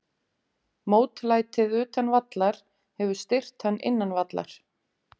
Mótlætið utan vallar hefur styrkt hann innan vallar.